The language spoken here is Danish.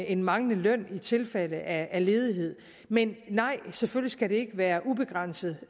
en manglende løn i tilfælde af ledighed men nej selvfølgelig skal den ikke være ubegrænset